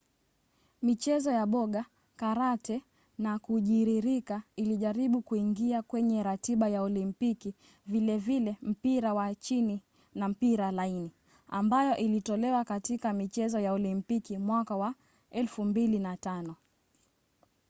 michezo ya boga karate na kujiririka ilijaribu kuingia kwenye ratiba ya olimpiki vilevile mpira wa chini na mpira laini ambayo ilitolewa katika michezo ya olimpiki mwaka wa 2005